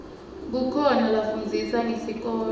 kukhoa lafundzisa ngesikolo